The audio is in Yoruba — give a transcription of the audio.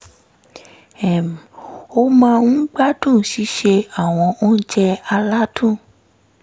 um ó máa ń gbádùn sísè àwọn oúnjẹ aládùn